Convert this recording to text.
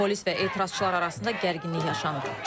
Polis və etirazçılar arasında gərginlik yaşanıb.